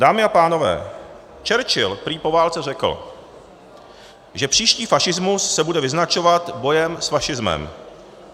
Dámy a pánové, Churchill prý po válce řekl, že příští fašismus se bude vyznačovat bojem s fašismem.